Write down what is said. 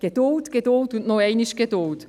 Geduld, Geduld und noch einmal Geduld.